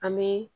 An bɛ